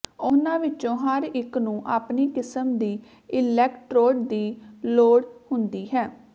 ਉਹਨਾਂ ਵਿੱਚੋਂ ਹਰ ਇੱਕ ਨੂੰ ਆਪਣੀ ਕਿਸਮ ਦੀ ਇਲੈਕਟ੍ਰੋਡ ਦੀ ਲੋੜ ਹੁੰਦੀ ਹੈ